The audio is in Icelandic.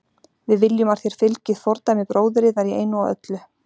Við viljum að þér fylgið fordæmi bróður yðar í einu og öllu.